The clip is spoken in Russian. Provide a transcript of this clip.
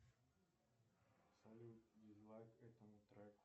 салют дизлайк этому треку